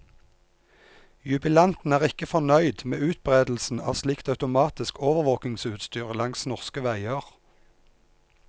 Jubilanten er ikke fornøyd med utbredelsen av slikt automatisk overvåkingsutstyr langs norske veier.